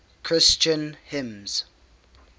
christian hymns